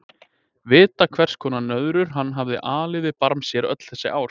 Vita hvers konar nöðrur hann hafði alið við barm sér öll þessi ár.